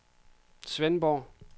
Svendborg